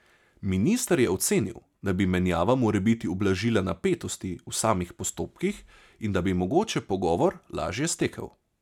Minister je ocenil, da bi menjava morebiti ublažila napetosti v samih postopkih in da bi mogoče pogovor lažje stekel.